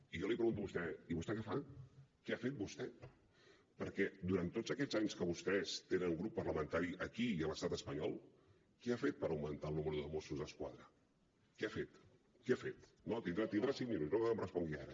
i jo li pregunto a vostè i vostè què fa què ha fet vostè perquè durant tots aquests anys que vostès tenen grup parlamentari aquí i a l’estat espanyol què ha fet per augmentar el número de mossos d’esquadra què ha fet què ha fet no tindrà cinc minuts no cal que em respongui ara